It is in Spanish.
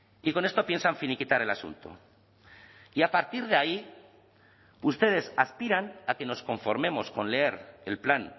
y con esto piensan finiquitar el asunto y a partir de ahí ustedes aspiran a que nos conformemos con leer el plan